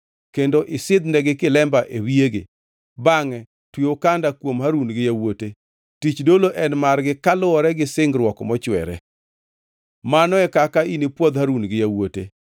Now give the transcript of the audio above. kendo isidhnegi kilemba e wiyegi. Bangʼe twe okanda kuom Harun gi yawuote. Tich dolo en margi kaluwore gi singruok mochwere. “Mano e kaka inipwodh Harun gi yawuote.